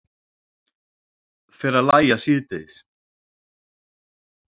Fer að lægja síðdegis